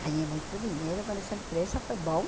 Ganhei muito dinheiro com essa empresa, foi bom.